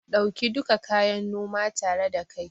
Ɗauki duka kayan noma tare da kai